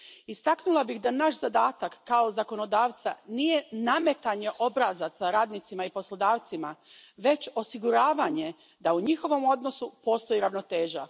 Istaknula bih da naš zadatak, kao zakonodavca, nije nametanje obrazaca radnicima i poslodavcima već osiguravanje da u njihovom odnosu postoji ravnoteža.